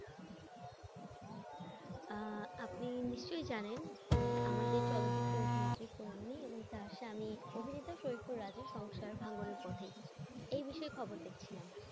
আহ আপনি নিশ্চয়ই জানেন যে আমাদের চলচ্চিত্র অভিনেত্রী এই বিষয়ে খবর দেখছিলাম।